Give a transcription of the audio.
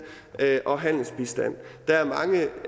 og handelsbistand der